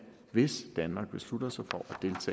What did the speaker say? hvis danmark beslutter sig for